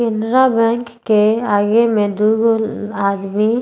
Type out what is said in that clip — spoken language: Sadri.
केनरा बैंक के आगे में दू गो आदमी --